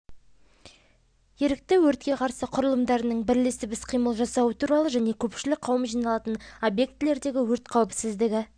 ерікті өртке қарсы құралымдарының бірлесіп іс-қимыл жасауы туралы және көпшілік қауым жиналатын объектілердегі өрт қауіпсіздігі